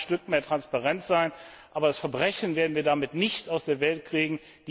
Das mag ein Stück mehr Transparenz sein, aber das Verbrechen werden wir damit nicht aus der Welt kriegen.